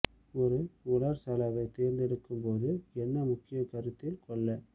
ஒரு உலர் சலவை தேர்ந்தெடுக்கும் போது என்ன முக்கியம் கருத்தில் கொள்ள